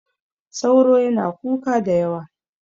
sauro yana kuka da yawa